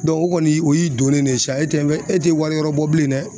o kɔni o y'i donnen de ye sa e tɛ e tɛ wari wɛrɛ bɔ bilen dɛ